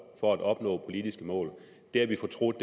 for at opnå politiske mål har vi fortrudt